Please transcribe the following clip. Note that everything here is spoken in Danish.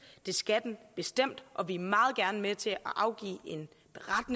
det skal den bestemt og vi er meget gerne med til at afgive